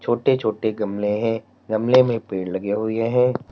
छोटी छोटी गमले हैं गमले में पेड़ लगे हुए हैं।